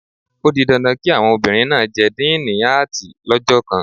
O di dandan kí àwọn obìnrin náà jẹ díìnì Áàtì lọ́jọ́ kan